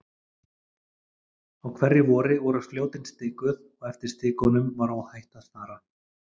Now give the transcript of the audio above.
Á hverju vori voru Fljótin stikuð og eftir stikunum var óhætt að fara.